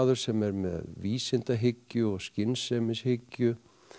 sem er með vísindahyggju og skynsemishyggju